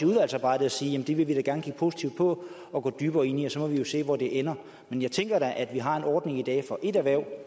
udvalgsarbejdet at sige jamen det vil vi da gerne kigge positivt på og gå dybere ind i og så må vi jo se hvor det ender jeg tænker at vi har en ordning i dag for ét erhverv